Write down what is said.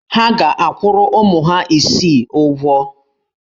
Ha ga-akwụrụ ụmụ ha isii ụgwọ.